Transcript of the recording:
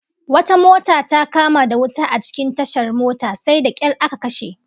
Wata mota ta kama da wuta a cikin tashar mota, sai da kyar aka kashe